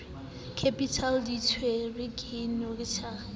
capital di tiisetswe ke notary